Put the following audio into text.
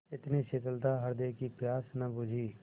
इतनी शीतलता हृदय की प्यास न बुझी